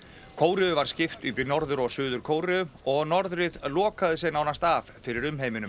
Kóreu var skipt upp í Norður og Suður Kóreu og norðrið lokaði sig nánast af fyrir umheiminum